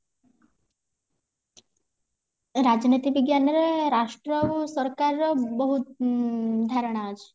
ରାଜନୀତି ବିଜ୍ଞାନ ରେ ରାଷ୍ଟ୍ର ଆଉ ସରକାର ର ବୋହୁତ ଉଁ ଧାରଣା ଅଛି